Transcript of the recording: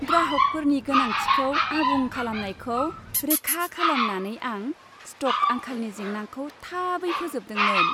ग्राहकफोरनि गोनांथिखौ आबुं खालामनायखौ रोखा खालामनानै, आं स्टक आंखालनि जेंनाखौ थाबै फोजोबदोंमोन।